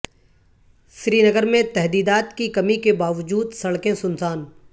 سرینگر میں تحدیدات کی کمی کے باوجود سڑکیں سنسان